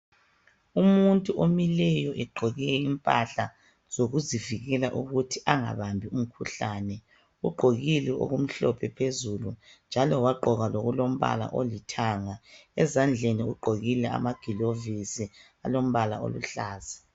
Umuntu omileyo egqoke impahla zokluzivikela ukuthi angabambi umkhuhlane ugqokile okumhlophe phezulu njalo wagqoka lokulombala olithanga ezandleni ugqokile amagilovisi alombla oluhlaza